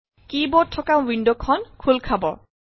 কী board থকা window খন খোল খাব